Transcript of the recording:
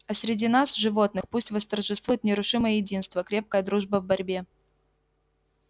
а среди нас животных пусть восторжествует нерушимое единство крепкая дружба в борьбе